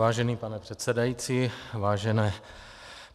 Vážený pane předsedající, vážené